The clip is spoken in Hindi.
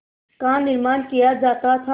का निर्माण किया जाता था